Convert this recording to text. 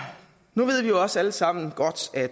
nu ved vi også alle sammen godt at